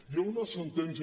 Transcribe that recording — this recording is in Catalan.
hi ha una sentència